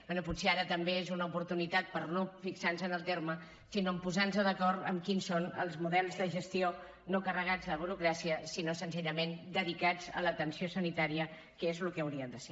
bé potser ara també és una oportunitat per no fixar nos en el terme sinó en posar nos d’acord en quins són els models de gestió no carregats de burocràcia sinó senzillament dedicats a l’atenció sanitària que és el que haurien de ser